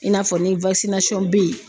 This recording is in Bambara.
I n'a fɔ ni bɛ yen.